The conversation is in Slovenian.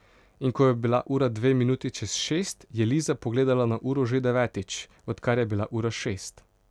In ko je bila ura dve minuti čez šest, je Liza pogledala na uro že devetič, odkar je bila ura šest.